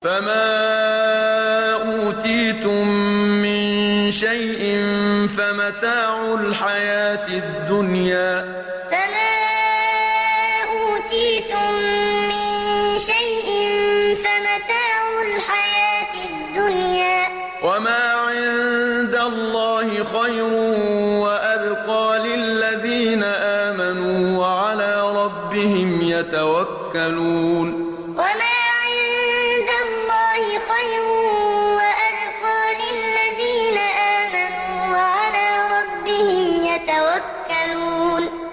فَمَا أُوتِيتُم مِّن شَيْءٍ فَمَتَاعُ الْحَيَاةِ الدُّنْيَا ۖ وَمَا عِندَ اللَّهِ خَيْرٌ وَأَبْقَىٰ لِلَّذِينَ آمَنُوا وَعَلَىٰ رَبِّهِمْ يَتَوَكَّلُونَ فَمَا أُوتِيتُم مِّن شَيْءٍ فَمَتَاعُ الْحَيَاةِ الدُّنْيَا ۖ وَمَا عِندَ اللَّهِ خَيْرٌ وَأَبْقَىٰ لِلَّذِينَ آمَنُوا وَعَلَىٰ رَبِّهِمْ يَتَوَكَّلُونَ